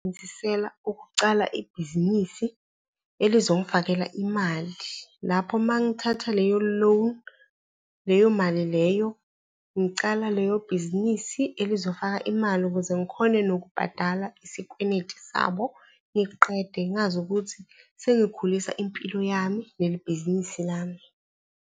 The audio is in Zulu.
ukucala ibhizinisi elizongifakhela imali. Lapho uma ngithatha leyo loan, leyo mali leyo, ngicala leyo bhizinisi elizofaka imali ukuze ngikhone nokubhadala isikweleti sabo, ngiqede ngazi ukuthi sengikhulisa impilo yami nelibhizinisi lami.